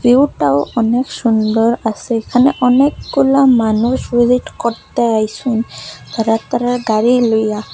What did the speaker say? ভিউটাও অনেক সুন্দর আসে এখানে অনেকগুলা মানুষ ভিজিট করতে আইসুন তাদের তাদের গাড়ি লইয়া।